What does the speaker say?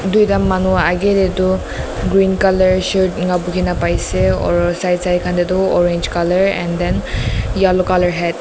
tuita manu ageh te tu green color shirt enga lagai na pai ase orrr side side kan de tu orange color and then yellow color hat .